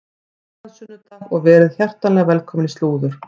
Gleðilegan sunnudag og verið hjartanlega velkomin í slúður.